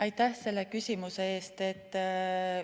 Aitäh selle küsimuse eest!